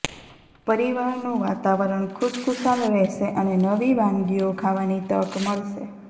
પરિવારનું વાતાવરણ ખુશખુશાલ રહેશે અને નવી વાનગીઓ ખાવાની તક મળશે